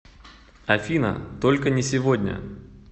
афина только не сегодня